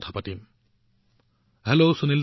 শ্ৰীযুত প্ৰধানমন্ত্ৰী নমস্কাৰ সুনীলজী